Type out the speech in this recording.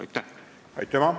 Aitüma!